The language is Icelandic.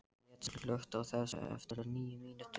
Gret, slökktu á þessu eftir níu mínútur.